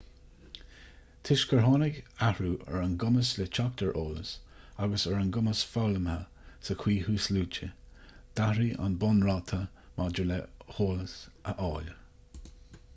toisc gur tháinig athrú ar an gcumas le teacht ar eolas agus ar an gcumas foghlamtha sa chaoi thuasluaite d'athraigh an bunráta maidir le heolas a fháil